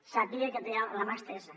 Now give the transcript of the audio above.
sàpiga que té la mà estesa